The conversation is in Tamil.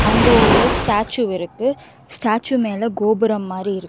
அங்க ஒரு ஸ்டாச்சு இருக்கு ஸ்டாச்சு மேல கோபுரம் மாறி இருக்கு.